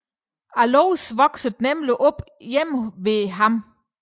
Alois voksede nemlig op hjemme hos ham